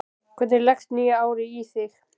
Hvernig leggst nýja árið í þig?